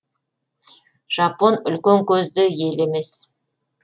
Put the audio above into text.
жапон үлкен көзді ел емес